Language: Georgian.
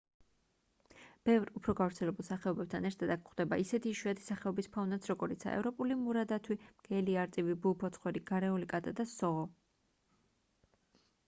ბევრ უფრო გავრცელებულ სახეობებთან ერთად აქ გვხვდება ისეთი იშვიათი სახეობის ფაუნაც როგორიცაა ევროპული მურა დათვი მგელი არწივი ბუ ფოცხვერი გარეული კატა და სოღო